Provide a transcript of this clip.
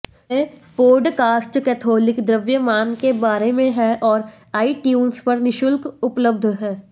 ये podcast Catholic द्रव्यमान के बारे में हैं और आईट्यून्स पर निःशुल्क उपलब्ध हैं